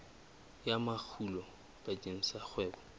ya makgulo bakeng sa kgwebo